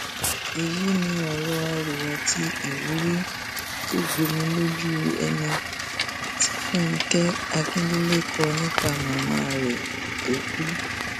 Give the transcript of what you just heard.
èyí ni ọrọ arò àti ìwúrí tó gbomi lójú ẹni tí fúnkẹ akíndélé kọ nípa màmá rẹ tó kú